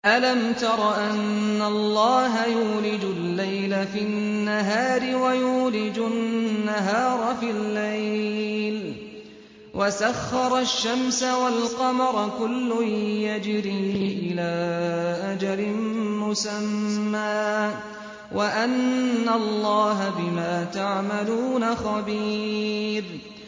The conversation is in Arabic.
أَلَمْ تَرَ أَنَّ اللَّهَ يُولِجُ اللَّيْلَ فِي النَّهَارِ وَيُولِجُ النَّهَارَ فِي اللَّيْلِ وَسَخَّرَ الشَّمْسَ وَالْقَمَرَ كُلٌّ يَجْرِي إِلَىٰ أَجَلٍ مُّسَمًّى وَأَنَّ اللَّهَ بِمَا تَعْمَلُونَ خَبِيرٌ